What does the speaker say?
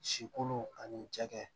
Si kolo ani cɛkɛ